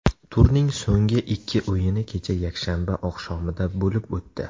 Turning so‘nggi ikki o‘yini kecha yakshanba oqshomida bo‘lib o‘tdi.